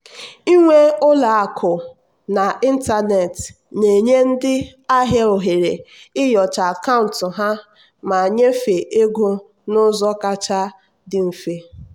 nyiwe ụlọ akụ n'ịntanetị na-enye ndị ahịa ohere inyocha akaụntụ ha ma nyefee ego n'ụzọ kacha dị mfe.